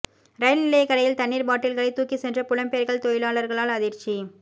ரயில் நிலைய கடையில் தண்ணீர் பாட்டில்களை தூக்கி சென்ற புலம்பெயர்கள் தொழிலாளர்களால் அதிர்ச்சி